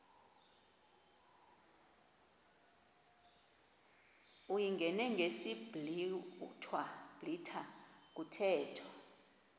uyingene ngesiblwitha kuthethwa